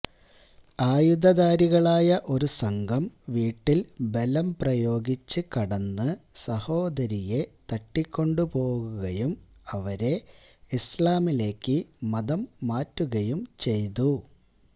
ആയുധധാരികളായ ഒരു സംഘം വീട്ടില് ബലംപ്രയോഗിച്ച് കടന്ന് സഹോദരിയെ തട്ടികൊണ്ടുപോകുകയും അവരെ ഇസ്ലാമിലേക്ക് മതം മാറ്റുകയും ചെയ്തു